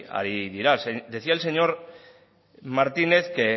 ari dira decía el señor martínez que